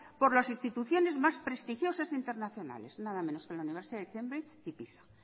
por las instituciones más prestigiosas e internacionales nada menos que la universidad de cambridge y pisa